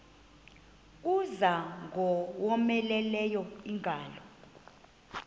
kuza ingowomeleleyo ingalo